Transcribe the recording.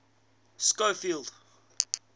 schofield